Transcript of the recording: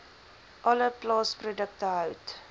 alle plaasprodukte hout